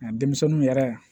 Nka denmisɛnninw yɛrɛ